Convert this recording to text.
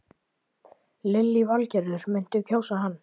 Lillý Valgerður: Muntu kjósa hann?